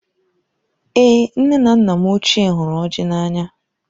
Èé! nne na nna m ochié hụrụ ọjị n'anya.